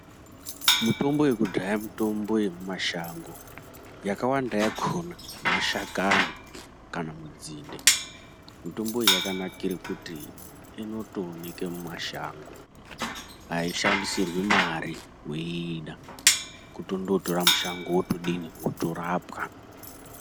Mitombo yekudhaya mitombo ye muma shango yakawanda yakona mashakani kana munzinde mitombo iyi yakanikire kuti inotooneke mu mashango ayi shandisirwi mari weiida kutondo tora mushango wotodini woto rapwa.